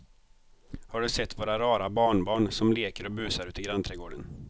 Har du sett våra rara barnbarn som leker och busar ute i grannträdgården!